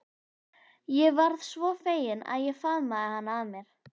Ég varð svo fegin að ég faðmaði hana að mér.